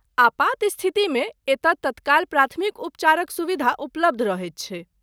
आपात स्थितिमे एतय तत्काल प्राथमिक उपचारक सुविधा उपलब्ध रहैत छैक ।